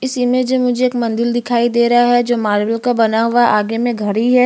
इस इमेज में मुझे एक मंदिर दिखाई दे रहा है जो मारबल का बना हुआ है आगे में घड़ी है।